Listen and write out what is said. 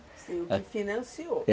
É o que financiou, é.